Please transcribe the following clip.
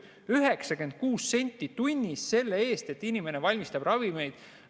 96 senti tunnis selle eest, et inimene valmistab ravimeid!